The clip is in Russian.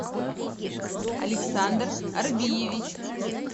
александр арбиевич